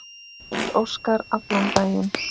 Páll Óskar allan daginn.